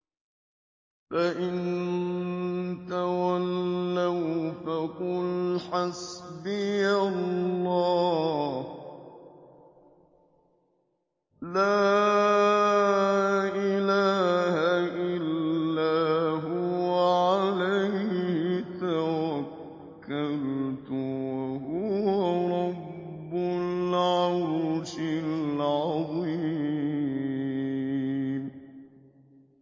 فَإِن تَوَلَّوْا فَقُلْ حَسْبِيَ اللَّهُ لَا إِلَٰهَ إِلَّا هُوَ ۖ عَلَيْهِ تَوَكَّلْتُ ۖ وَهُوَ رَبُّ الْعَرْشِ الْعَظِيمِ